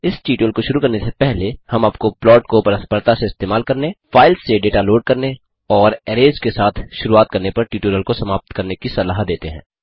इस ट्यूटोरियल को शुरू करने से पहले हम आपको प्लॉट को परस्परता से इस्तेमाल करने फाइल्स से डेटा लोड करने और अरैज़ के साथ शुरुआत करने पर ट्यूटोरियल को समाप्त करने की सलाह देते हैं